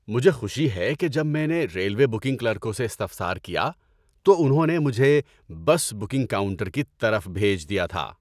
‏مجھے خوشی ہے کہ جب میں نے ریلوے بکنگ کلرکوں سے استفسار کیا تو انہوں نے مجھے بس بکنگ کاؤنٹر کی طرف بھیج دیا تھا۔